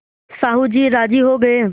साहु जी राजी हो गये